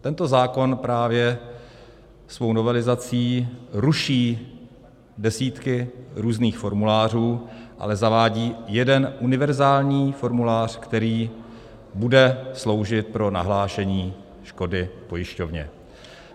Tento zákon právě svou novelizací ruší desítky různých formulářů, ale zavádí jeden univerzální formulář, který bude sloužit pro nahlášení škody pojišťovně.